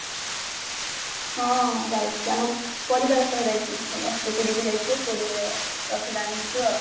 ହଁ ଯାଇଥିଲି ଆମ ପରିବାର ସହ ଯାଇଥିଲି ସମସ୍ତେ ପୁରୀକୁ ଯାଇଥିଲୁ ପୁରୀରେ ରଥ ଟାଣିଥିଲୁ ଆଉ